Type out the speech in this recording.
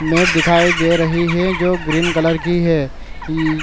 met दिखाई दे रही है जो ग्रीन कलर की है इ --